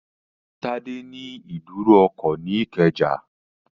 Tádé ní ìdúró ọkọ̀ ní Ìkẹjà